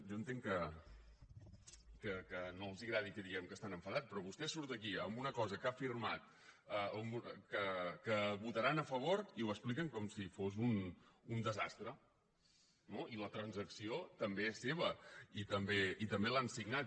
jo entenc que no els agradi que diguem que estan enfadats però vostè surt aquí amb una cosa que ha firmat que votaran a favor i ho expliquen com si fos un desastre no i la transacció també és seva i també l’han signat